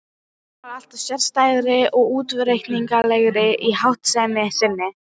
Telpan varð alltaf sérstæðari og óútreiknanlegri í háttsemi sinni.